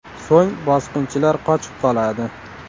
So‘ng bosqinchilar qochib qoladi.